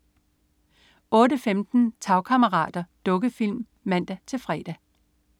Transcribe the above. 08.15 Tagkammerater. Dukkefilm (man-fre)